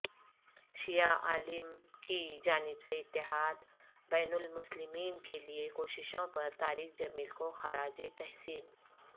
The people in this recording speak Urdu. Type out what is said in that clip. شیعہ عالم کی جانب سے اتحاد بین المسلمین کےلئے کوششوں پرطارق جمیل کو خراج تحسین